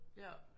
Ja